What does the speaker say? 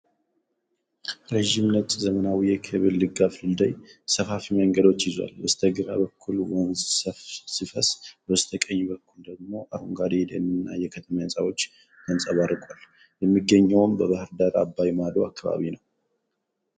ረጅም፣ ነጭ እና ዘመናዊ የኬብል-ድጋፍ ድልድይ ሰፋፊ መንገዶችን ይዟል። በስተግራ በኩል ወንዝ ሲፈስ፣ በበስተቀኝ በኩል ደግሞ አረንጓዴ የደን እና የከተማ ህንፃዎች ተንጸባርቀዋል። የሚገኘውም በባህርዳር አባይ ማዶ አካባቢ ነው።